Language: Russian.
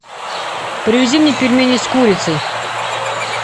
привези мне пельмени с курицей